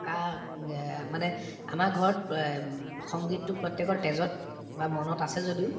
উম আ মানে আমাৰ ঘৰত ব আ উম সংগীততো প্ৰত্যেকৰ তেজত বা মনত আছে যদিও